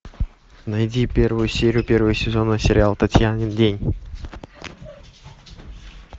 найди первую серию первый сезон сериал татьянин день